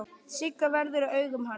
Sigga verður fyrir augum hans.